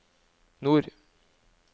nord